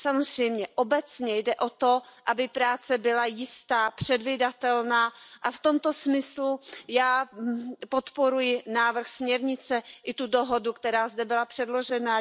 Samozřejmě, obecně jde o to, aby práce byla jistá, předvídatelná, a v tomto smyslu podporuji návrh směrnice i tu dohodu, která zde byla předložena.